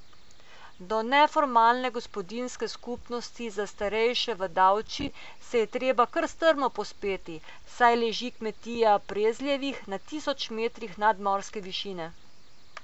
Do neformalne gospodinjske skupnosti za starejše v Davči se je treba kar strmo povzpeti, saj leži kmetija Prezljevih na tisoč metrih nadmorske višine.